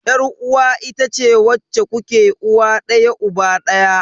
Yar uwa itace wacce kuke uwa daya uba daya.